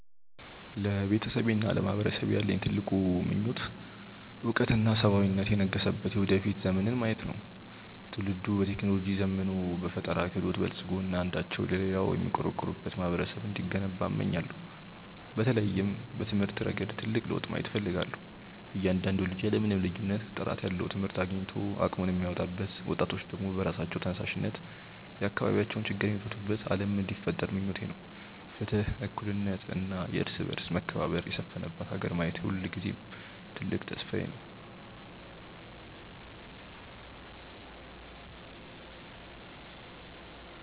ለቤተሰቤና ለማህበረሰቤ ያለኝ ትልቁ ምኞት እውቀትና ሰብአዊነት የነገሰበት የወደፊት ዘመንን ማየት ነው። ትውልዱ በቴክኖሎጂ ዘምኖ፣ በፈጠራ ክህሎት በልፅጎ እና አንዳቸው ለሌላው የሚቆረቆሩበት ማህበረሰብ እንዲገነባ እመኛለሁ። በተለይም በትምህርት ረገድ ትልቅ ለውጥ ማየት እፈልጋለሁ፤ እያንዳንዱ ልጅ ያለ ምንም ልዩነት ጥራት ያለው ትምህርት አግኝቶ አቅሙን የሚያወጣበት፣ ወጣቶች ደግሞ በራሳቸው ተነሳሽነት የአካባቢያቸውን ችግር የሚፈቱበት ዓለም እንዲፈጠር ምኞቴ ነው። ፍትህ፣ እኩልነት እና የእርስ በርስ መከባበር የሰፈነባት ሀገር ማየት የሁልጊዜም ትልቅ ተስፋዬ ነው።